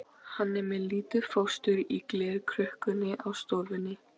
Hann er með lítið fóstur í glerkrukku á stofunni.